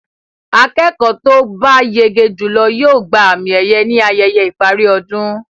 Akẹ́kọ̀ọ́ to bá yege jùlọ yóò gba àmì-ẹ̀yẹ ní ayẹyẹ ìparí ọdún.